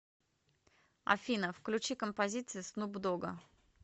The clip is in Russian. афина включи композиции снуп дога